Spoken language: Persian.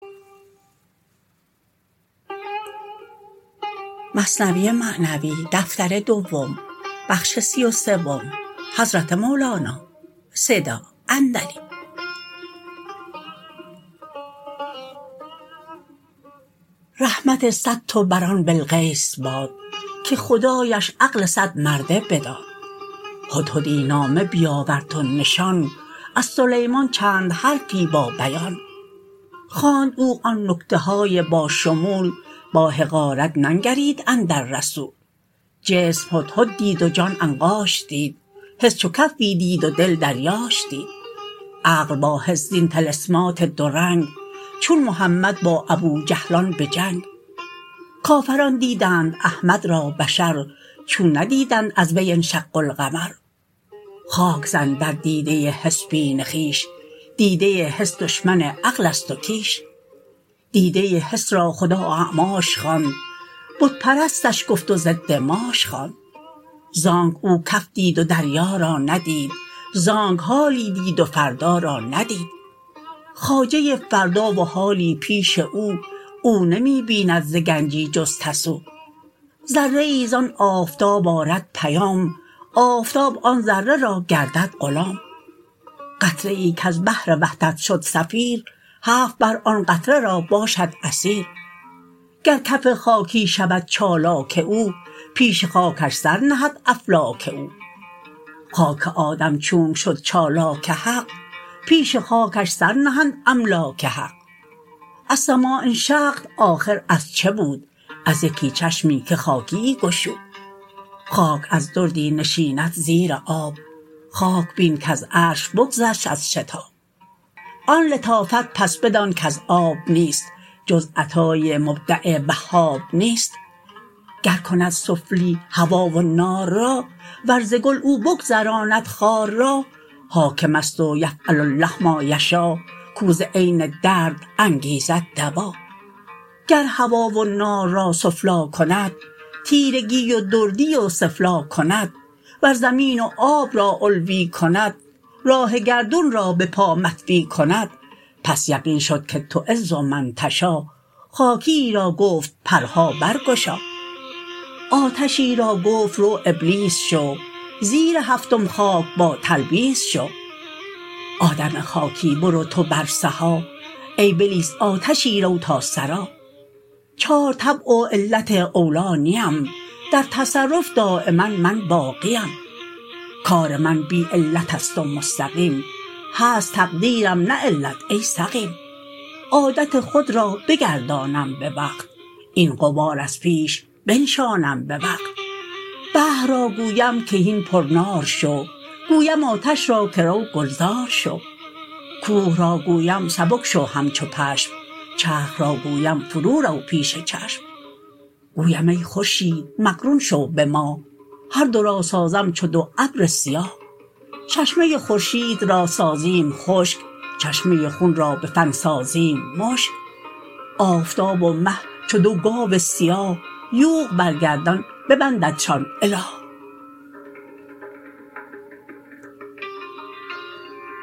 رحمت صد تو بر آن بلقیس باد که خدایش عقل صد مرده بداد هدهدی نامه بیاورد و نشان از سلیمان چند حرفی با بیان خواند او آن نکته های با شمول با حقارت ننگرید اندر رسول جسم هدهد دید و جان عنقاش دید حس چو کفی دید و دل دریاش دید عقل با حس زین طلسمات دو رنگ چون محمد با ابوجهلان به جنگ کافران دیدند احمد را بشر چون ندیدند از وی انشق القمر خاک زن در دیده حس بین خویش دیده حس دشمن عقلست و کیش دیده حس را خدا اعماش خواند بت پرستش گفت و ضد ماش خواند زانک او کف دید و دریا را ندید زانک حالی دید و فردا را ندید خواجه فردا و حالی پیش او او نمی بیند ز گنجی جز تسو ذره ای زان آفتاب آرد پیام آفتاب آن ذره را گردد غلام قطره ای کز بحر وحدت شد سفیر هفت بحر آن قطره را باشد اسیر گر کف خاکی شود چالاک او پیش خاکش سر نهد افلاک او خاک آدم چونک شد چالاک حق پیش خاکش سر نهند املاک حق السماء انشقت آخر از چه بود از یکی چشمی که خاکیی گشود خاک از دردی نشیند زیر آب خاک بین کز عرش بگذشت از شتاب آن لطافت پس بدان کز آب نیست جز عطای مبدع وهاب نیست گر کند سفلی هوا و نار را ور ز گل او بگذراند خار را حاکمست و یفعل الله ما یشا کو ز عین درد انگیزد دوا گر هوا و نار را سفلی کند تیرگی و دردی و ثفلی کند ور زمین و آب را علوی کند راه گردون را به پا مطوی کند پس یقین شد که تعز من تشا خاکیی را گفت پرها بر گشا آتشی را گفت رو ابلیس شو زیر هفتم خاک با تلبیس شو آدم خاکی برو تو بر سها ای بلیس آتشی رو تا ثری چار طبع و علت اولی نیم در تصرف دایما من باقیم کار من بی علتست و مستقیم هست تقدیرم نه علت ای سقیم عادت خود را بگردانم بوقت این غبار از پیش بنشانم بوقت بحر را گویم که هین پر نار شو گویم آتش را که رو گلزار شو کوه را گویم سبک شو همچو پشم چرخ را گویم فرو در پیش چشم گویم ای خورشید مقرون شو به ماه هر دو را سازم چو دو ابر سیاه چشمه خورشید را سازیم خشک چشمه خون را به فن سازیم مشک آفتاب و مه چو دو گاو سیاه یوغ بر گردن ببنددشان اله